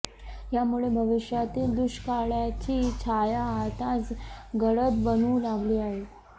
यामुळे भविष्यातील दुष्काळाची छाया आताच गडद बनू लागली आहे